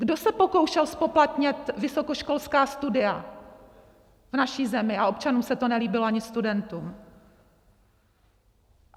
Kdo se pokoušel zpoplatnit vysokoškolská studia v naší zemi a občanům se to nelíbilo, ani studentům?